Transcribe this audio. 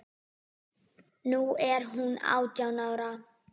Nú er hún átján ára.